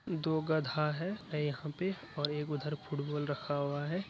दो गधा है यहाँ पे और एक उधर फुटबॉल रखा हुआ है।